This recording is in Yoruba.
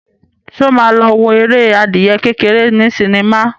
Ṣé ó ma lọ wo eré adìyẹ kékeré ní sinimá?